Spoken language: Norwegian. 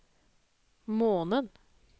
måned